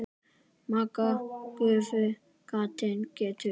Magga gáfu gatinu gætur.